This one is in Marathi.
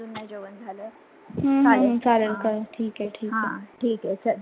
हम्म हम्म चालेल चालेल कर ठीक आहे ठीक आहे.